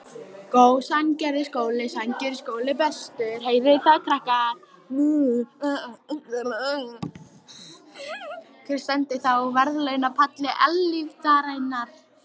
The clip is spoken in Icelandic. Hver stendur þá á verðlaunapalli eilífðarinnar?